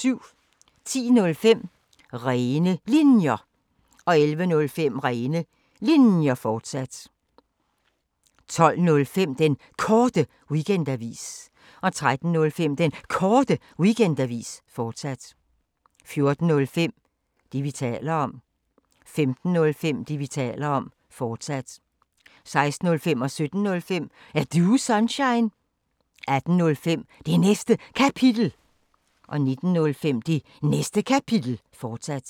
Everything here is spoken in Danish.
10:05: Rene Linjer 11:05: Rene Linjer, fortsat 12:05: Den Korte Weekendavis 13:05: Den Korte Weekendavis, fortsat 14:05: Det, vi taler om 15:05: Det, vi taler om, fortsat 16:05: Er Du Sunshine? 17:05: Er Du Sunshine? 18:05: Det Næste Kapitel 19:05: Det Næste Kapitel, fortsat